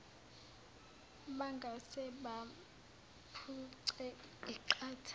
bangase bamphuce iqatha